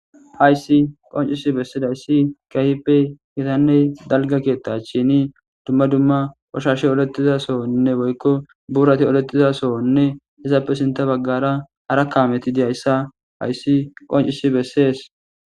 hayssi qoncisi bessidayssi kahppe kitanne dalga keetta sheni dumma dumma ushashe oletiza sohonne boykko buurati oletiza sohonne esappe sinta baggara ara kaameti diyayssa hayssi qoncisi bessees